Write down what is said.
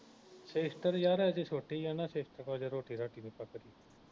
sister ਯਾਰ ਅਜੇ ਛੋਟੀ ਆ ਨਾ sister ਹਜੇ ਰੋਟੀ ਰਾਟੀ ਨੀ ਪੱਕਦੀ